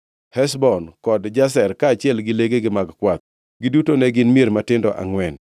Heshbon kod Jazer, kaachiel gi legegi mag kwath. Giduto ne gin mier matindo angʼwen.